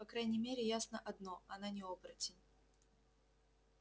по крайней мере ясно одно она не оборотень